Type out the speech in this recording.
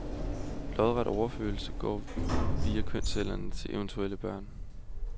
Lodret overførsel går via kønscellerne til eventuelle børn.